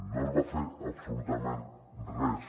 no es va fer absolutament res